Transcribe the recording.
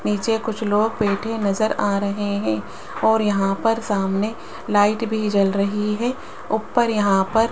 नीचे कुछ लोग बैठे नजर आ रहे हैं और यहां पर सामने लाइट भी जल रही है उप्पर यहां पर --